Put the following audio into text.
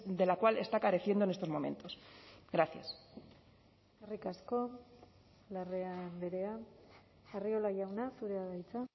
de la cual está careciendo en estos momentos gracias eskerrik asko larrea andrea arriola jauna zurea da hitza